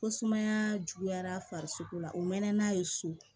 Ko sumaya juguyara farisoko la u mɛnna n'a ye so